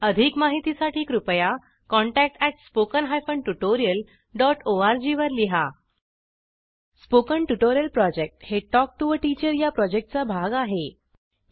अधिक माहितीसाठी कृपया contact at spoken hyphen tutorial dot ओआरजी R G spoken tutorial project हे टॉक टू टीचर या प्रॉजेक्टचा भाग आहे